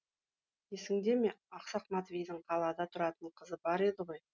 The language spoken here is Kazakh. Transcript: есіңде ме ақсақ матвейдің қалада тұратын қызы бар еді ғой